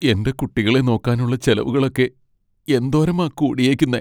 എന്റെ കുട്ടികളെ നോക്കാനുള്ള ചെലവുകളൊക്കെ എന്തോരമാ കൂടിയെക്കുന്നേ.